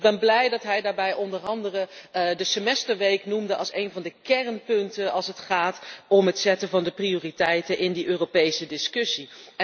Ik ben blij dat hij daarbij onder meer de semesterweek noemde als een van de kernpunten, als het gaat om het stellen van de prioriteiten in die Europese discussie.